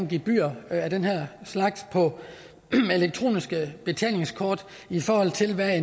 gebyrer af den her slags på elektroniske betalingskort i forhold til hvad